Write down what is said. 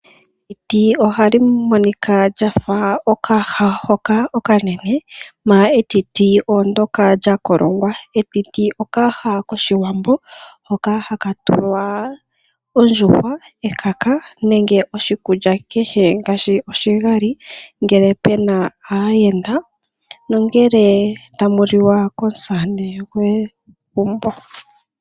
Etiti ohali monika lyafa okayaha hoka okanene manga etiti olyo ndoka lya kolongwa. Etiti, okayaha koshiwambo hoka haka tulwa ondjuhwa nenge oshikulya kehe ngaashi oshigali ngele puna aayenda, nongele tamu lilwa komusamane gwegumbo.